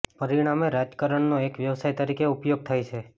પરિણામે રાજકારણનો એક વ્યવસાય તરીકે ઉપયોગ થાય છે